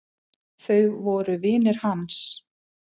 Þau voru vinir hans.